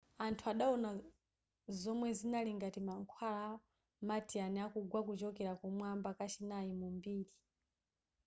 anthu adawona zomwe zinali ngati mankhwala a martian akugwa kuchokera kumwamba kachinayi mu mbiri